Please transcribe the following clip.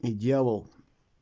и делал